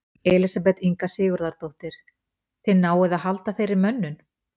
Elísabet Inga Sigurðardóttir: Þið náið að halda þeirri mönnun?